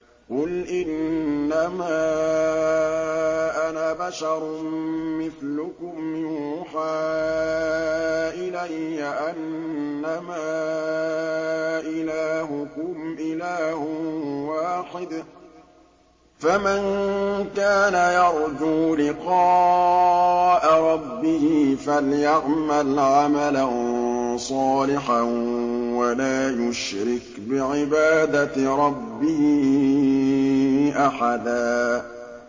قُلْ إِنَّمَا أَنَا بَشَرٌ مِّثْلُكُمْ يُوحَىٰ إِلَيَّ أَنَّمَا إِلَٰهُكُمْ إِلَٰهٌ وَاحِدٌ ۖ فَمَن كَانَ يَرْجُو لِقَاءَ رَبِّهِ فَلْيَعْمَلْ عَمَلًا صَالِحًا وَلَا يُشْرِكْ بِعِبَادَةِ رَبِّهِ أَحَدًا